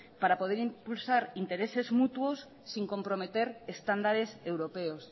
para poder impulsar intereses mutuos sin comprometer estándares europeos